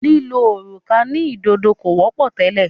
lílo òrùka sí ìdodo kò wọ́pọ̀ tẹ́lẹ̀.